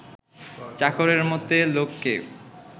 চাকরের মতে লোককে